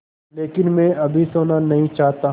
लेकिन मैं अभी सोना नहीं चाहता